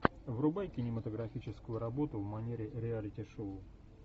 врубай кинематографическую работу в манере реалити шоу